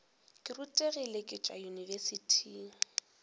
ke rutegile ke tšwa yunibesithing